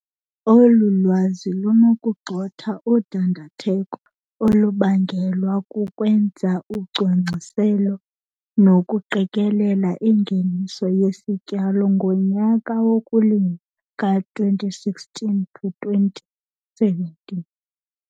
Olu lwazi lunokugxotha udandatheko olubangelwa kukwenza ucwangciselo nokuqikelela ingeniso yesityalo ngonyaka wokulima ka-2016 to 2017.